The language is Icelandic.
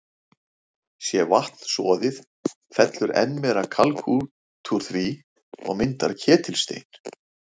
Sé vatnið soðið, fellur enn meira kalk út úr því og myndar ketilstein.